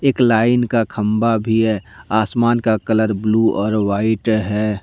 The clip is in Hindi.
एक लाइन का खंबा भी है आसमान का कलर ब्लू और व्हाइट है।